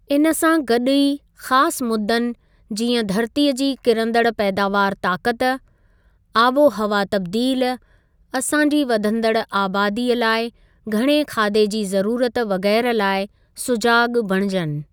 इन सां गॾु ई ख़ासि मुद्दनि, जीअं धरतीअ जी किरंदड़ पैदावार ताकत, आबोहवा तब्दील, असांजी वधंदड़ आबादीअ लाइ घणे खाधे जी ज़रूरत वग़ैरह लाइ सुॼाग बणिजनि।